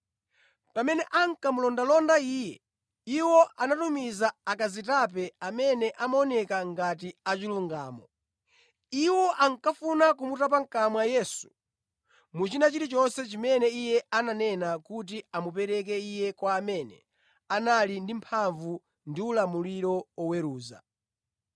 Pamene ankamulondalonda Iye, iwo anatumiza akazitape amene amaoneka ngati achilungamo. Iwo ankafuna kumutapa mʼkamwa Yesu mu china chilichonse chimene Iye ananena kuti amupereke Iye kwa amene anali ndi mphamvu ndi ulamuliro oweruza.